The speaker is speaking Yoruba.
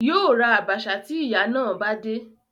Yóò ra àbàṣà tí ìyà náà bá dé